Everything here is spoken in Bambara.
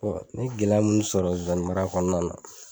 Bɔn n y e gɛlɛya munnu sɔrɔ zonzani mara kɔnɔna na